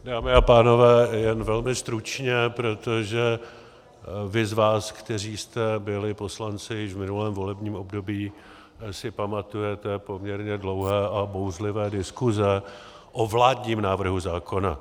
Dámy a pánové, jen velmi stručně, protože vy z vás, kteří jste byli poslanci již v minulém volebním období, si pamatujete poměrně dlouhé a bouřlivé diskuze o vládním návrhu zákona.